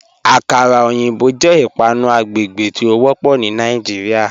Akàrà ọyinbọ̀ jẹ́ ìpànù àgbègbè tí o wọ́pọ̀ ní Nàìjíríà.